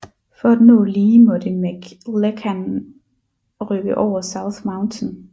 For at nå Lee måtte McClellan rykke over South Mountain